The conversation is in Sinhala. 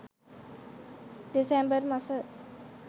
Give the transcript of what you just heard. දෙසැම්බර් මස